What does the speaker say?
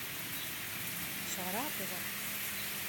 саратова